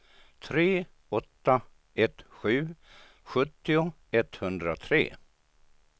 tre åtta ett sju sjuttio etthundratre